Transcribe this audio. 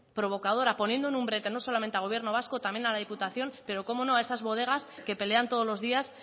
provocadora poniendo en un brete no solamente al gobierno vasco también a la diputación pero cómo no a esas bodegas que pelean todos los días